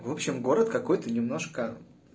в общем город какой-то немножко